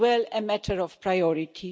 a matter of priority.